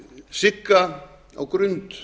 sigga á grund